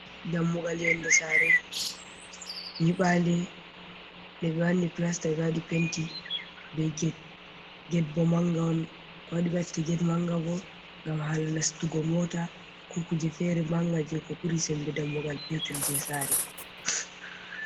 Dammugal yonnde saare nyiɓaande nde ɓe wanni pilasta, waɗi penti be ged. Ged bo mannga on, ko waɗi ɓe watta ged mannga bo, ngam haala nastugo moota ko kuje feere mannga, jey ko ɓuri sembe dammugal peetel jey saare.